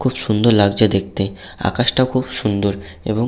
খুব সুন্দর লাগছে দেখতে। আকাশটাও খুব সুন্দর এবং--